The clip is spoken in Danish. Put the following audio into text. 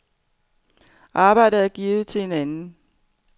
Arbejdet er givet til en anden.